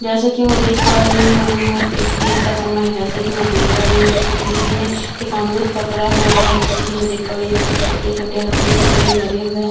जैसे की में देख पा रही हूँ यहाँ एक दिन का समय है जैसे की में देख पा रही यहाँ पे किसी ने एक अमरुद पकड़ा हुआ है जैसे की में देख पा रही हूँ यहाँ पे छोटे-छोटे हल्दी के पेड़ लगे हुए है।